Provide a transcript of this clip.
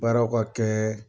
Baaraw ka kɛ